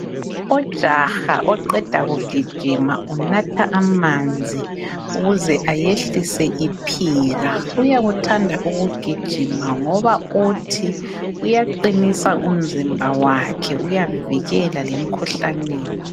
Ujaha oqeda kugijima unatha amanzi ukuze ayehlise iphika. Uyakuthanda ukugijima ngoba uthi kuyaqinisa umzimba wakhe uyamvikela lemikhuhlaneni.